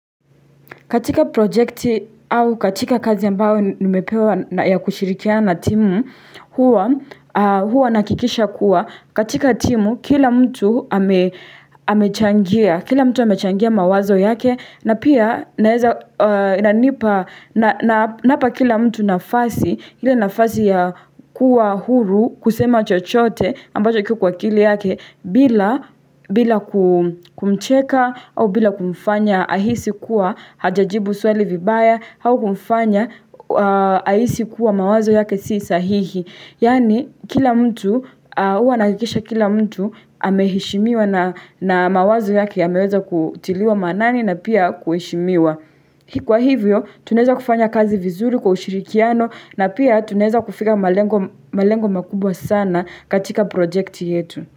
Katika projekti au katika kazi ambayo nimepewa ya kushirikiana na timu huwa nahakikisha kuwa katika timu kila mtu amechangia mawazo yake na pia naweza inanipa na napa kila mtu nafasi ili nafasi ya kuwa huru kusema chochote ambacho kiko kwa akili yake bila kumcheka au bila kumfanya ahisi kuwa hajajibu swali vibaya, au kumfanya, aisi kuwa mawazo yake si sahihi. Yaani kila mtu, huwa nahakikisha kila mtu, amehishimiwa na mawazo yake yameweza kutiliwa maanani na pia kuheshimiwa. Kwa hivyo, tunaweza kufanya kazi vizuri kwa ushirikiano na pia tunaweza kufika malengo makubwa sana katika projecti yetu.